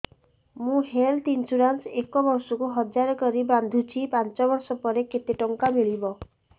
ମୁ health insurance ଏକ ବର୍ଷକୁ ହଜାର କରି ବାନ୍ଧୁଛି ପାଞ୍ଚ ବର୍ଷ ପରେ କେତେ ଟଙ୍କା ମିଳିବ